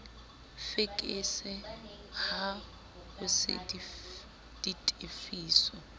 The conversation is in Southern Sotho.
fekese ha ho se ditefiso